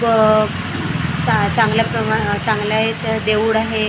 व चा चांगल्या प्र चांगल्या याचं देऊळ आहे.